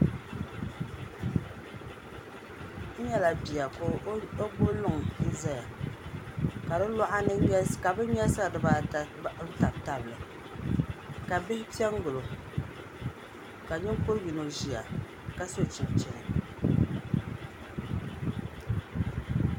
N nyɛla bia ka o gbubi luŋ ʒiya ŋmɛra ka di luɣa ni ka bin nyɛlisira dibaata tabi tabi li ka bihi piɛ n gilo ka ninkuri yino ʒiya ka so chinchini